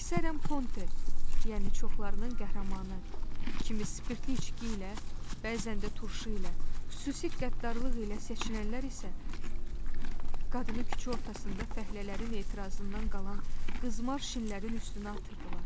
Əksərən Ponte, yəni çoxlarının qəhrəmanı, kimi spirtli içki ilə, bəzən də turşu ilə, xüsusi qəddarlıq ilə seçilənlər isə qadını küçə ortasında fəhlələrin etirazından qalan qızmar şinlərin üstünə atırdılar.